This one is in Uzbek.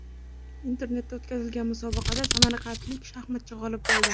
Internetda o‘tkazilgan musobaqada samarqandlik shaxmatchi g‘olib bo‘ldi.